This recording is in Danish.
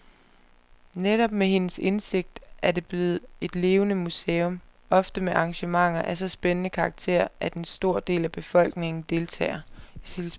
Netop med hendes indsigt er det blevet et levende museum, ofte med arrangementer af så spændende karakter, at en stor del af befolkningen deltager.